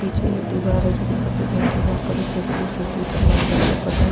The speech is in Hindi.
पीछे दीवार है जो की सफ़ेद रंग की है वहाँ पर एक खिड़की है खिड़की पर लाल रंग का पर्दा --